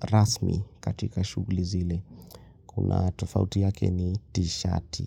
rasmi katika shughuli zile. Kuna tofauti yake na tishati.